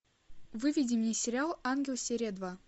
выведи мне сериал ангел серия два